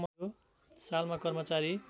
सालमा कर्मचारी